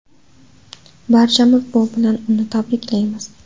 Barchamiz bu bilan uni tabriklaymiz.